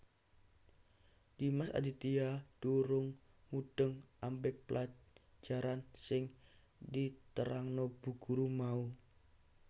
Dimas Aditya durung mudheng ambek pelajarang sing diterangno Bu Guru mau